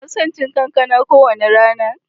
Ina son cin kankana kowane rana.